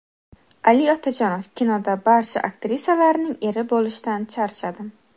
Ali Otajonov: Kinoda barcha aktrisalarning eri bo‘lishdan charchadim.